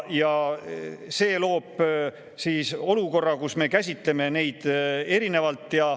Ja see loob olukorra, kus me kohtleme neid erinevalt.